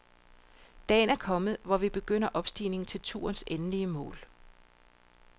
Dagen er kommet, hvor vi begynder opstigningen til turens endelige mål.